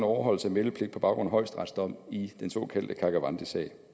overholdelse af meldepligt på baggrund af højesterets dom i den så kaldte karkavandisag